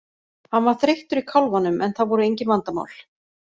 Hann var þreyttur í kálfanum en það voru engin vandamál.